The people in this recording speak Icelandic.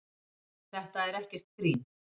Þetta er ekkert grín.